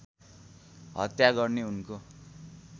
हत्या गर्ने उनको